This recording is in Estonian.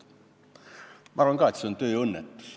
Ma arvan ka, et see on tööõnnetus.